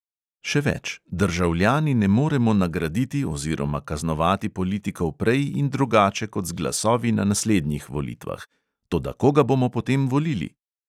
Še več: državljani ne moremo nagraditi oziroma kaznovati politikov prej in drugače kot z glasovi na naslednjih volitvah – toda koga bomo potem volili?